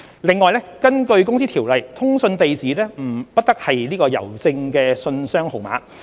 此外，根據《公司條例》，通訊地址不得是郵政信箱號碼。